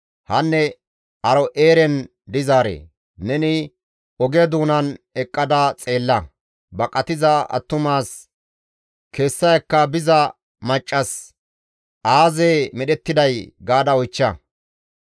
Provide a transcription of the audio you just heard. Hanne Aaro7eeren dizaaree! Neni oge doonan eqqada xeella; baqatiza attumas, kessa ekka biza maccas, ‹Aazee medhettiday?› gaada oychcha.